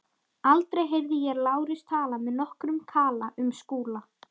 Aldrei heyrði ég Lárus tala með nokkrum kala um Skúla.